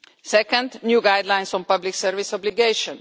second, new guidelines on public service obligation